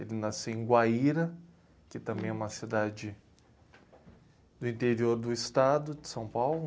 Ele nasceu em Guaíra, que também é uma cidade do interior do estado de São Paulo.